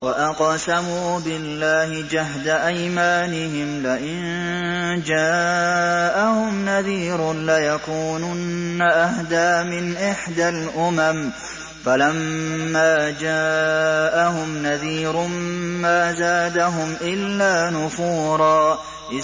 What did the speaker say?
وَأَقْسَمُوا بِاللَّهِ جَهْدَ أَيْمَانِهِمْ لَئِن جَاءَهُمْ نَذِيرٌ لَّيَكُونُنَّ أَهْدَىٰ مِنْ إِحْدَى الْأُمَمِ ۖ فَلَمَّا جَاءَهُمْ نَذِيرٌ مَّا زَادَهُمْ إِلَّا نُفُورًا